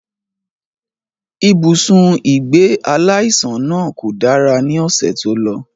Ibùsùn ìgbé aláìsàn náà kò dára ní ọ̀sẹ̀ tó lọ